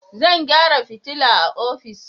Zan gyara fitila a ofis.